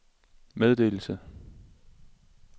meddelelse